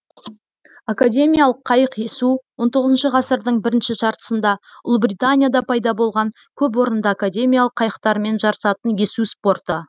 академиялық қайық есу он тоғызыншы ғасырдың бірінші жартысында ұлыбританияда пайда болған көпорынды академиялық қайықтармен жарысатын есу спорты